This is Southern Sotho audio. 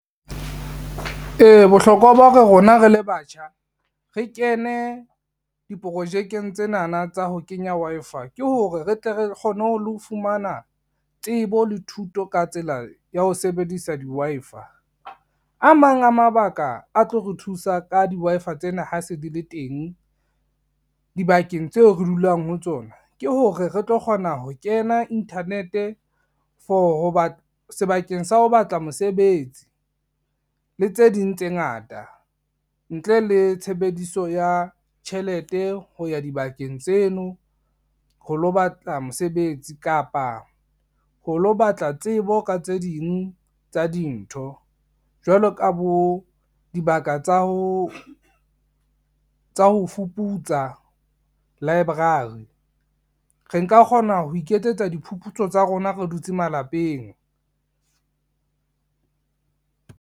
E, bohlokwa ba hore rona re le batjha, re kene diprojekeng tsenana tsa ho kenya Wi-Fi ke hore re tle re kgone ho le ho fumana tsebo le thuto ka tsela ya ho sebedisa di-WI-Fi. A mang a mabaka a tlo re thusa ka di-Wi-Fi tsena ha se di le teng dibakeng tseo re dulang ho tsona, ke hore re tlo kgona ho kena internet-e sebakeng sa ho batla mosebetsi, le tse ding tse ngata ntle le tshebediso ya tjhelete ho ya dibakeng tseno ho lo batla mosebetsi kapa ho lo batla tsebo ka tse ding tsa dintho, jwalo ka bo dibaka tsa ho fuputsa library. Re nka kgona ho iketsetsa diphuputso tsa rona re dutse malapeng.